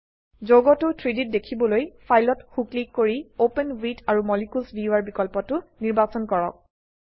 যৌগটো 3ডি ত দেখিবলৈ ফাইলত সো ক্লিক কৰি অপেন ৱিথ আৰু মলিকিউলছ ভিউৱাৰ বিকল্পটো নিৰ্বাচন কৰক